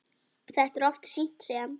Þetta er oft sýnt sem